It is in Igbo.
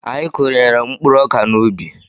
Anyị kụnyere mkpụrụ ọkà n'ubi.